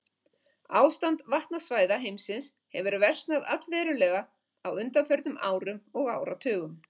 Ástand vatnasvæða heimsins hefur versnað allverulega á undanförnum árum og áratugum.